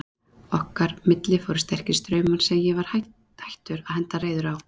Milli okkar fóru sterkir straumar sem ég var hættur að henda reiður á.